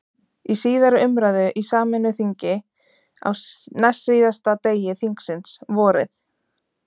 Í síðari umræðu í sameinu þingi, á næstsíðasta degi þingsins, vorið